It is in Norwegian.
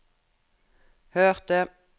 hørte